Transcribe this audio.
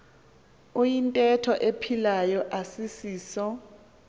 iyintetho ephilayo asisiso